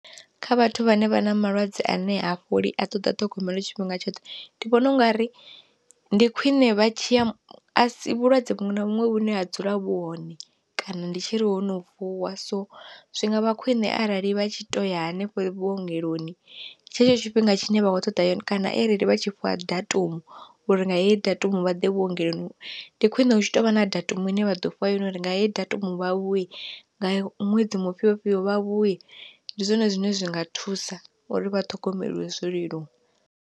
Kha vhathu vhane vha na malwadze ane ha fholi a ṱoḓa ṱhogomelo tshifhinga tshoṱhe, ndi vhona ungari ndi khwiṋe vha tshiya vhulwadze vhuṅwe na vhuṅwe vhune ha dzula vhu hone kana ndi tshiri hono vuwa. So zwi ngavha khwine arali vha tshi to ya hanefho vhuongeloni tshetsho tshifhinga tshine vha kho ṱoḓa yone kana arali vha tshi fhiwa datumu uri nga heyi datumu vha ḓe vhuongeloni, ndi khwine hu tshi tovha na datumu ine vha ḓo fhiwa yone uri nga heyi datumu vha vhuye nga ṅwedzi mufhio fhio vha vhuye, ndi zwone zwine zwinga thusa uri vha ṱhogomelwe zwo leluwa.